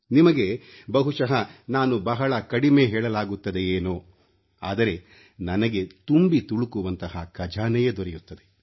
ನಿಮಗೆ ಬಹುಶಃ ನಾನು ಬಹಳ ಕಡಿಮೆ ಹೇಳಲಾಗುತ್ತದೆಯೇನೋ ಆದರೆ ನನಗೆ ತುಂಬಿ ತುಳುಕುವಂತಹ ಖಜಾನೆಯೇ ದೊರೆಯುತ್ತದೆ